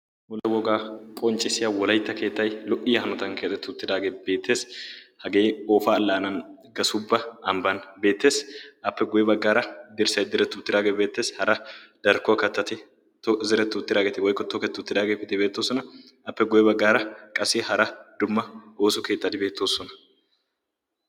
wolla wogaa qonccissiya wolaitta keettai lo77iya hanotan kexxatettu tiraagee beettees hagee oofaa allaanan gasubba ambban beettees appe guye baggaara dirssai direttu tiraagee beetteesi hara darkkuwaa kattati zirettu tiraageeti woikotookettu tiraagee bidibeettoosona appe goye baggaara qassi hara dumma ooso keettadi beettoosona